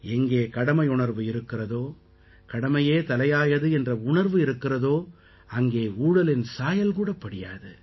எங்கே கடமையுணர்வு இருக்கிறதோ கடமையே தலையாயது என்ற உணர்வு இருக்கிறதோ அங்கே ஊழலின் சாயல் கூட படியாது